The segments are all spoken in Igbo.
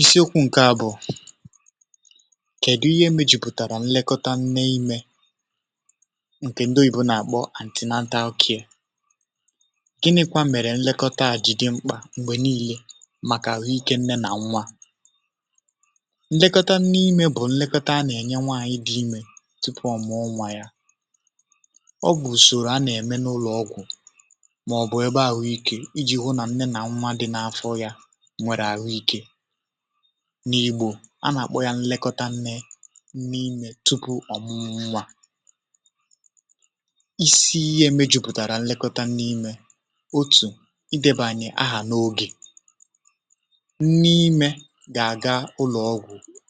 Isiokwu a bụ̀ um kedụ ihe mejupụtara nlekọta nne ime nke ndị oyibo na-akpọ antenatal care um gịnịkwa mere nlekọta a ji dị mkpa mgbe niile maka ahụ ike nne na nwa Nlekọta nne ime bụ nlekọta a na-enye nwanyị dị ime tupu o mụọ nwa ya um ọ bụ usoro a na-eme n’ụlọ ọgwụ nwere ahụ ike n’Igbo a na-akpọ ya nlekọta nne n’ime tupu ọmụmụ nwa Isi ihe mejupụtara nlekọta nne ime bụ um otu ideba aha onye nwanyị dị ime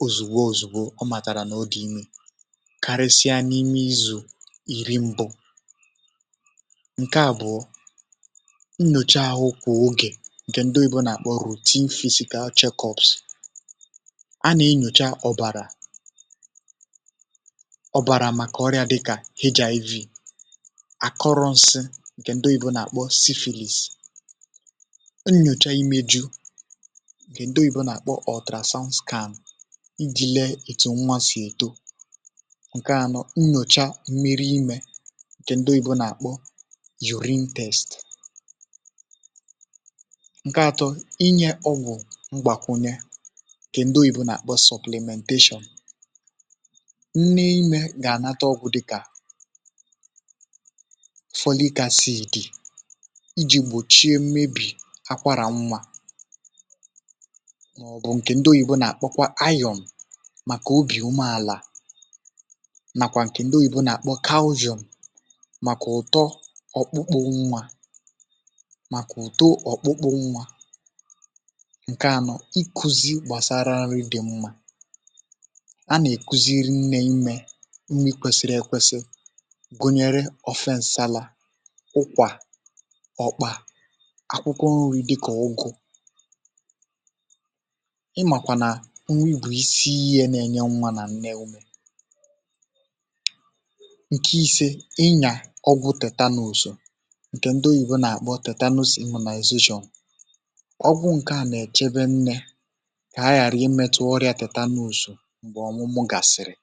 ozugbo ozugbo o matara na ọ dị ime karịsịa n’ime izu iri mbụ Nke abụọ bụ um routine physical check-up a na-enyocha ọbara maka ọrịa dịka HIV um akọrọ nsị nke a na-akpọ syphilis nnyocha imeju ga-eme nke a na-akpọ hepatitis iji lee etu nwa si eto Nke atọ bụ nnyocha mmirì ime nke a na-akpọ urine test Nke anọ bụ um ngwakwunye nke a na-akpọ supplementation nne ime ga-enweta ọgwụ dịka folic acid iji gbochie mmebi akwara nwa ma nwekwara ọgwụ iron maka obi umeala um na calcium maka uto ọkpụkpụ nwa Nke ise bụ um ikuzi gbasara nri dị mma a na-ekuziri nne ime nri kwesiri ekwesi gụnyere ofe nsị, salad, ukwa, okpa, akwụkwọ nri dịka ugu n’ihi na nri bụ isi iyi na-enye nwa na nne ume Nke isii bụ um inye ọgwụ tetanus nke ndị oyibo na-akpọ tetanus immunization nke a na-echebe nne ka ha ghara imetụta ọrịa tetanus mgbe ọmụmụ gasịrị